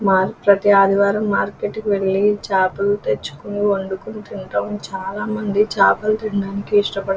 మేము ప్రతి ఆదివారం మార్కెట్ కి వెళ్ళి చేపలు తెచ్చుకొని వండుకొని తినటం చాలా మంది చేపలు తీనడానికి ఇస్టపడుతారు.